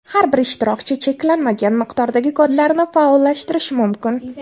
Har bir ishtirokchi cheklanmagan miqdordagi kodlarni faollashtirishi mumkin.